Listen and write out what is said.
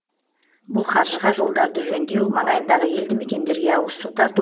бұл қаржыға жолдарды жөндеу маңайындағы елді мекендерге ауызсу тарту